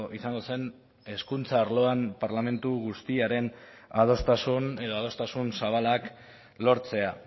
izango zen hezkuntza arloan parlamentu guztiaren adostasun edo adostasun zabalak lortzea